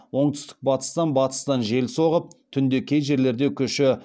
оңтүстік батыстан батыстан жел соғып түнде кей жерлерде күші